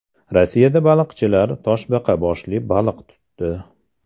Rossiyada baliqchilar toshbaqa boshli baliq tutdi.